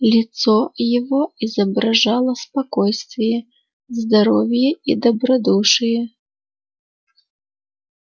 лицо его изображало спокойствие здоровье и добродушие